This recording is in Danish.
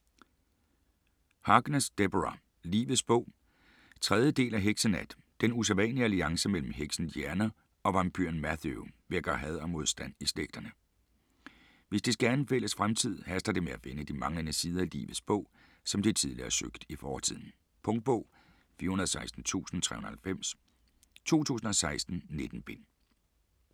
Harkness, Deborah: Livets bog 3. del af Heksenat. Den usædvanlige alliance mellem heksen Diana og vampyren Matthew vækker had og modstand i slægterne. Hvis de skal have en fælles fremtid, haster det med at finde de manglende sider i Livets Bog, som de tidligere har søgt i fortiden. Punktbog 416390 2016. 19 bind.